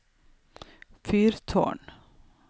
fyrtårn